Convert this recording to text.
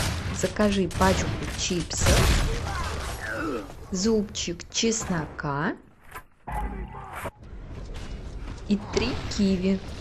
закажи пачку чипсов зубчик чеснока и три киви